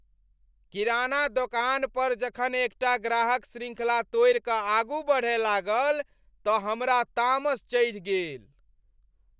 किराना दोकान परजखन एकटा ग्राहक श्रृंखला तोड़ि कऽ आगू बढ़य लागल तऽ हमरा तामस चढ़ि गेल।